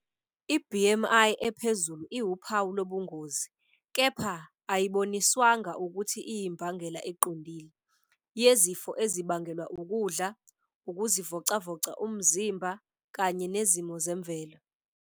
I-BMI ephezulu iwuphawu lobungozi, kepha ayiboniswanga ukuthi iyimbangela eqondile, yezifo ezibangelwa ukudla, ukuzivocavoca umzimba, kanye nezimo zemvelo.